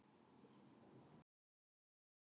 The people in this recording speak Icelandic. Krúttið eigraði út til að hitta þá og virtist leiðast.